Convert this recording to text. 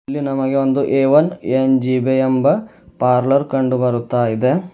ಇಲ್ಲಿ ನಮಗೆ ಒಂದು ಎ ವನ್ ಏನ್_ಜೆ_ಬಿ ಎಂಬ ಪಾರ್ಲರ್ ಕಂಡುಬರುತ್ತಾ ಇದೆ.